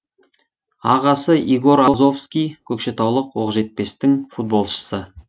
ағасы егор азовский көкшетаулық оқжетпестің футболшысы